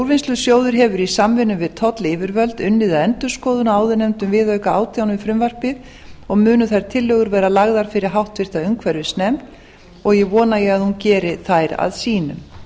úrvinnslusjóður hefur í samvinnu við tollyfirvöld unnið að endurskoðun á áðurnefndum viðauka átján við frumvarpið og munu þær tillögur verða lagðar fyrir háttvirta umhverfisnefnd og vona ég að hún geri þær að sínum